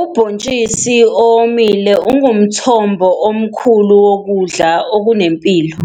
Ubontshisi owomile ungumthombo omkhulu wokudla okunempilo